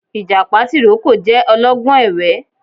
Ìjàpá tìrókò jẹ ọlọ́gbọ́n ẹ̀wẹ́